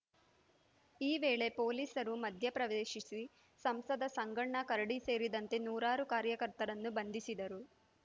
ಈ ವೇಳೆ ಪೊಲೀಸರು ಮಧ್ಯ ಪ್ರವೇಶಿಸಿ ಸಂಸದ ಸಂಗಣ್ಣ ಕರಡಿ ಸೇರಿದಂತೆ ನೂರಾರು ಕಾರ್ಯಕರ್ತರನ್ನು ಬಂಧಿಸಿದರು